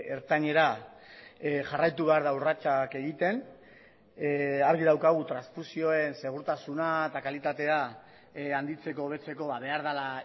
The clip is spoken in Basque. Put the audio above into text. ertainera jarraitu behar da urratsak egiten argi daukagu transfusioen segurtasuna eta kalitatea handitzeko hobetzeko behar dela